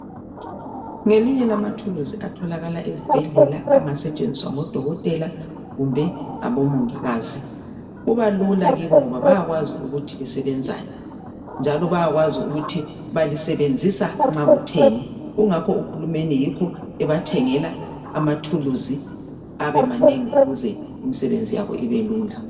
Ngelinye lamathuluzi atholakala ezibhedlela angasetshenziswa ngo dokotela kumbe ngabomongikazi kubalula kibo ngoba bayakwazi ukuthi lisebenzani njalo bayakwazi ukuthi balisebenzisa nxa kutheni ingakho uhulumende yikho ebathengela amathuluzi abemanengi ukuze imisebenzi yabo ibelula